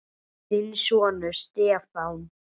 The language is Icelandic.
Þinn sonur, Stefán.